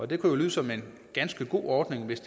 det kan jo lyde som en ganske god ordning hvis